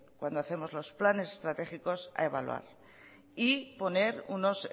cuando hacemos los planes estratégicos a evaluar y poner unos